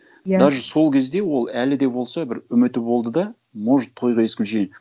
иә даже сол кезде ол әлі де болса бір үміті болды да может тойға исключение